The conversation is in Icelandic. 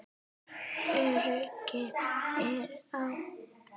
Öryggið er á.